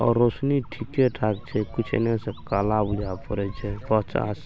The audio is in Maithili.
और रौशनी ठीके ठाक छै कुछ इने से काला बुझा पड़े छै--